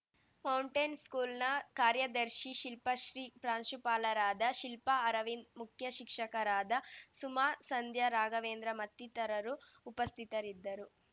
mountain ಸ್ಕೂಲ್‌ನ ಕಾರ್ಯದರ್ಶಿ ಶಿಲ್ಪಶ್ರೀ ಪ್ರಾಂಶುಪಾಲರಾದ ಶಿಲ್ಪಾ ಅರವಿಂದ್‌ ಮುಖ್ಯ ಶಿಕ್ಷಕರಾದ ಸುಮಾ ಸಂಧ್ಯಾ ರಾಘವೇಂದ್ರ ಮತ್ತಿತರರು ಉಪಸ್ಥಿತರಿದ್ದರು